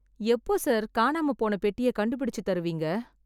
எப்போ சார் காணாம போன பெட்டிய கண்டுபிடிச்சு தருவீங்க